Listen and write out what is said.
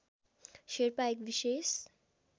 शेर्पा एक विशेष